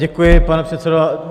Děkuji, pane předsedající.